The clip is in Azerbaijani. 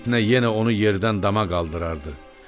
Fitnə yenə onu yerdən dama qaldırardı.